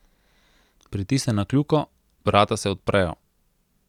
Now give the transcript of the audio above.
Pritisne na kljuko, vrata se odprejo.